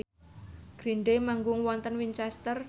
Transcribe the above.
Green Day manggung wonten Winchester